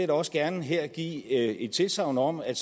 da også gerne her give et tilsagn om at